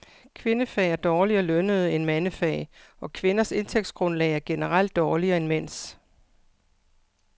Kvindefag er dårligere lønnede end mandefag, og kvinders indtægtsgrundlag er generelt dårligere end mænds.